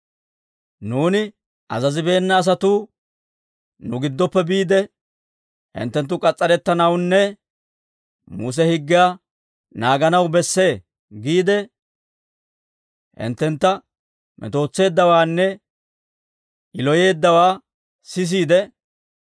«Nuuni azazibeena asatuu nu giddoppe biide, ‹Hinttenttu k'as's'arettanawunne Muse higgiyaa naaganaw bessee› giide, hinttentta metootseeddawaanne yiloyeeddawaa sisiide,